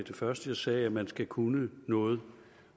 første jeg sagde altså at man skal kunne noget